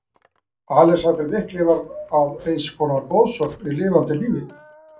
Alexander mikli varð að eins konar goðsögn í lifanda lífi.